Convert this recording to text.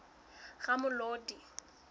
ramolodi